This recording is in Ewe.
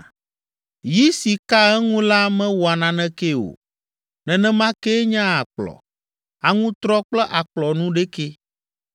Yi si kaa eŋu la mewɔa nanekee o, nenema kee nye akplɔ, aŋutrɔ kple akplɔ nuɖekɛ.